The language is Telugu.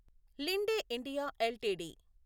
Linde India LTD